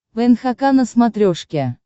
нхк на смотрешке